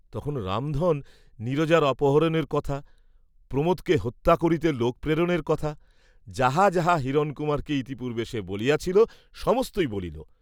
তখন রামধন নীরজার অপহরণের কথা, প্রমোদকে হত্যা করিতে লোক প্রেরণের কথা, যাহা যাহা হিরণকুমারকে ইতিপূর্ব্বে সে বলিয়াছিল সমস্তই বলিল।